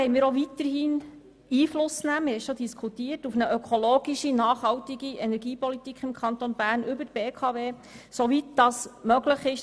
Drittens wollen wir auch weiterhin über die BKW Einfluss auf eine ökologische, nachhaltige Energiepolitik im Kanton Bern nehmen, soweit das im Rahmen des Aktionärsrechts möglich ist.